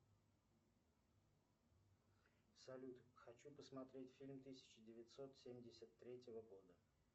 салют хочу посмотреть фильм тысяча девятьсот семьдесят третьего года